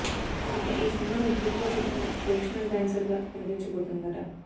ఇక ఈ సినిమాలో దీపిక పదుకొనె ప్రొఫెషనల్ డాన్సర్ గా కనిపించబోతుందట